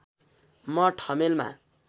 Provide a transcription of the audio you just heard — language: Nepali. म ठमेलमा